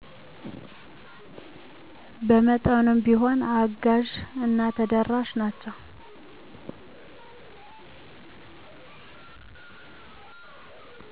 በመጠኑም ቢሆን አጋዢ እና ተደራሽ ናቸው